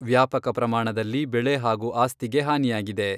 ವ್ಯಾಪಕ ಪ್ರಮಾಣದಲ್ಲಿ ಬೆಳೆ ಹಾಗೂ ಆಸ್ತಿಗೆ ಹಾನಿಯಾಗಿದೆ.